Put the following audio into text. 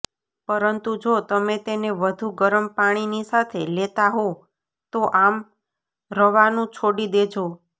પરંતુ જો તમે તેને વધુ ગરમ પાણીની સાથે લેતા હો તો આમ રવાનું છોડી દેજો